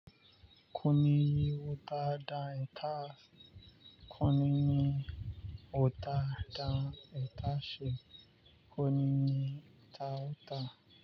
Kunyi wuta dan ita kunyi wuta dan ita shi kunyi ita wuta.